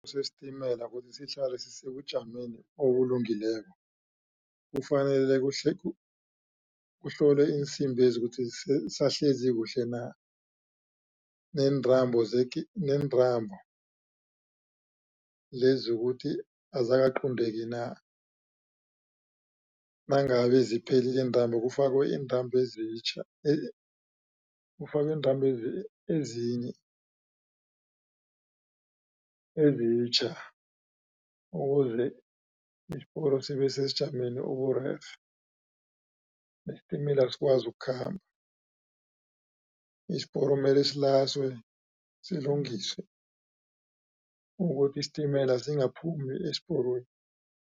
Sesitimela kuthi sihlale sisebujameni obulungileko, kufanele kuhlolwe iinsimbezi ukuthi zisahlezi kuhle na, neentambo nentambo lezi ukuthi azikaqunteki na. Nangabe ziphelile iintambo, kufakwe iintambo ezitjha kufakwe iintambo ezinye ezitjha, ukuze isiporo sibe sesijameni oburerhe, nesitimela sikwazi ukukhamba. Isiporo mele silaswe silungiswe ukuthi isitimela singaphumi esporweni.